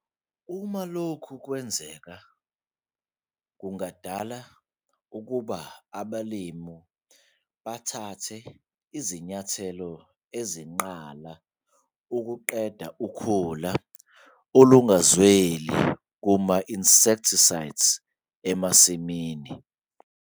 Uma lokhu kwenzeka, kungadala ukuba abalimi bathathe izinyathelo ezinqala ukuqeda ukhula olungazweli kuma-herbicides emasimini.